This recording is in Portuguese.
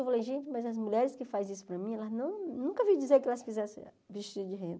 Eu falei, gente, mas as mulheres que fazem isso para mim, elas não eu nunca ouvi dizer que elas fizessem vestido de renda.